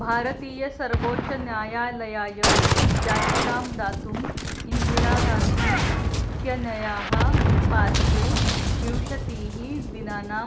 भारतीयसर्वोच्चन्यायालयाय याचिकां दातुं इन्दिरा गान्धी इत्यनयाः पार्श्वे विंशतिः दिनानां